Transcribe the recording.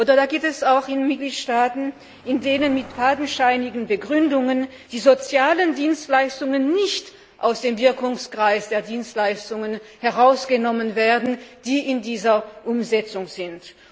Und es gibt auch Mitgliedstaaten, die mit fadenscheinigen Begründungen die sozialen Dienstleistungen nicht aus dem Wirkungskreis der Dienstleistungen herausnehmen, die in dieser Umsetzung sind.